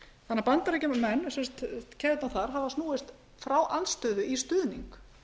og einfaldan hátt keðjurnar í bandaríkjunum hafa snúist frá andstöðu í stuðning